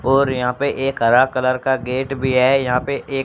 और यहा पे एक हरा कलर का गेट भी है यहा पे एक--